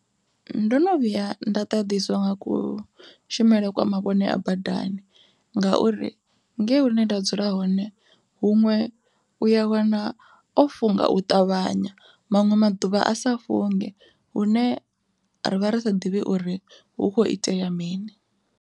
Ndo no vhuya nda ḓaḓiswa nga kushumele kwa mavhone a badani ngauri ngei hune nda dzula hone huṅwe uya wana o funga u ṱavhanya, maṅwe maḓuvha a sa funge hune ra vha ri sa ḓivhi uri hu kho itea mini.